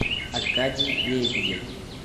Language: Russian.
аркадий лебедев